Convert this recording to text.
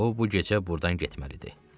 O bu gecə buradan getməlidir.